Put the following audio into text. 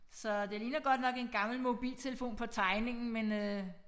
Så det ligner godt nok en gammel mobiltelefon på tegningen men øh